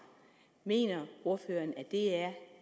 mener ordføreren at det er